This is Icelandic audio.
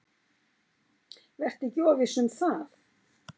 Vertu ekki of viss um það.